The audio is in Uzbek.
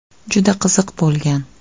Juda qiziq bo‘lgan.